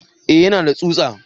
Eh yana da tsutsa